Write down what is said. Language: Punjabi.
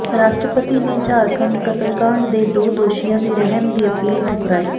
ਰਾਸ਼ਟਰਪਤੀ ਨੇ ਝਾਰਖੰਡ ਕਤਲਕਾਂਡ ਦੇ ਦੋ ਦੋਸ਼ੀਆਂ ਦੀ ਰਹਿਮ ਦੀ ਅਪੀਲ ਠੁਕਰਾਈ